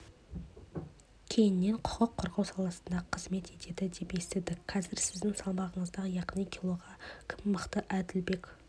кейіннен құқық қорғау саласында қызмет етеді деп естідік қазір сіздің салмағыңызда яғни килода кім мықты әділбек